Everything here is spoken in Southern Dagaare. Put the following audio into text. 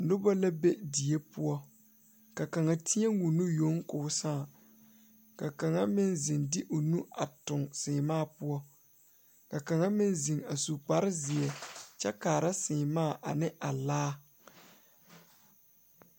Noba la be die poɔ ka kaŋ teɛ o nu yoŋ koo saa ka kaŋa meŋ ziŋ de o nu a tuŋ seemaa poɔ ka kaŋa meŋ ziŋ a su kpare zeɛ kyɛ kaara seemaa ane a laa.